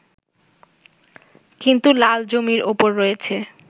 কিন্তু লাল জমির ওপর রয়েছে